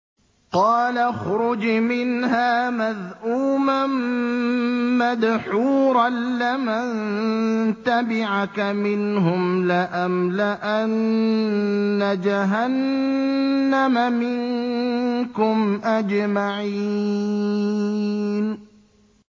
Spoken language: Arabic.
قَالَ اخْرُجْ مِنْهَا مَذْءُومًا مَّدْحُورًا ۖ لَّمَن تَبِعَكَ مِنْهُمْ لَأَمْلَأَنَّ جَهَنَّمَ مِنكُمْ أَجْمَعِينَ